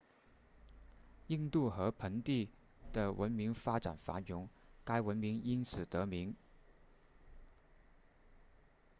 印度河盆地的文明发展繁荣该文明因此得名